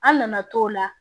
An nana t'o la